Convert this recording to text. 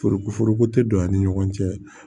Foroko foroko tɛ don an ni ɲɔgɔn cɛ